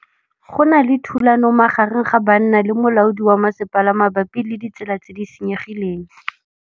Go na le thulanô magareng ga banna le molaodi wa masepala mabapi le ditsela tse di senyegileng.